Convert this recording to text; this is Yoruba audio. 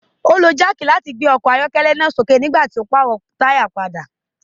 o lo jack láti gbé ọkọ ayọkẹlẹ náà sí òkè nigbati tí o n parọ taya ọkọ pàdà